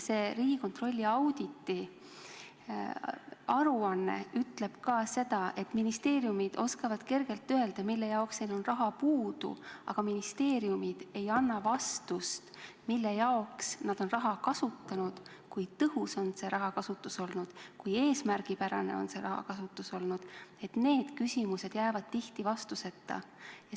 See Riigikontrolli auditiaruanne ütleb ka, et ministeeriumid oskavad kergelt öelda, mille jaoks neil jääb raha puudu, aga ministeeriumid ei anna vastust, mille jaoks nad on raha kasutanud, kui tõhus on see rahakasutus olnud, kui eesmärgipärane on see rahakasutus olnud, et need küsimused jäävad tihti vastuseta.